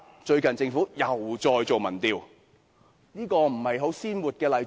最近政府又再進行民調，這不是很鮮活的例子嗎？